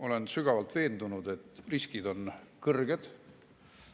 Olen sügavalt veendunud, et riskid on kõrged.